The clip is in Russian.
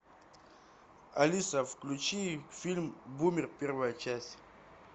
алиса включи фильм бумер первая часть